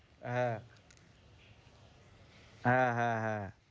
হ্যাঁ হ্যাঁ, হ্যাঁ, হ্যাঁ